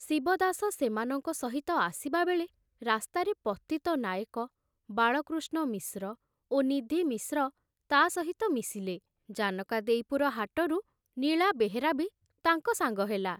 ଶିବଦାସ ସେମାନଙ୍କ ସହିତ ଆସିବାବେଳେ ରାସ୍ତାରେ ପତିତ ନାଏକ, ବାଳକୃଷ୍ଣ ମିଶ୍ର ଓ ନିଧି ମିଶ୍ର ତା ସହିତ ମିଶିଲେ, ଜାନକାଦେଇପୁର ହାଟରୁ ନୀଳା ବେହେରା ବି ତାଙ୍କ ସାଙ୍ଗ ହେଲା।